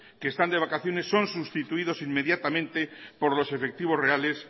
que están de vacaciones son sustituidos inmediatamente por los efectivos reales